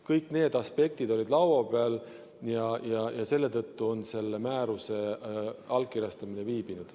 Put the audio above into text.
Kõik need aspektid olid laua peal ja selle tõttu on selle määruse allkirjastamine viibinud.